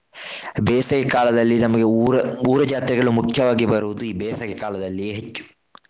ಬೇಸಗೆಕಾಲದಲ್ಲಿ ನಮಗೆ ಊರ ಊರ ಜಾತ್ರೆಗಳು ಮಖ್ಯವಾಗಿ ಬರುವುದು ಈ ಬೇಸಗೆಕಾಲದಲ್ಲಿ ಹೆಚ್ಚು.